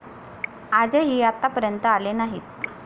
आजही आत्तापर्यंत आले नाहीत